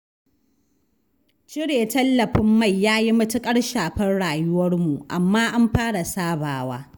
Cire tallafin mai ya yi matuƙar shafar rayuwarmu, amma an fara sabawa.